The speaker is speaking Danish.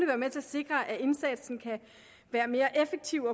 være med til at sikre at indsatsen kan være mere effektiv